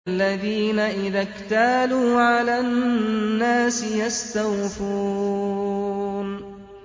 الَّذِينَ إِذَا اكْتَالُوا عَلَى النَّاسِ يَسْتَوْفُونَ